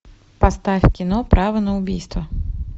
поставь кино право на убийство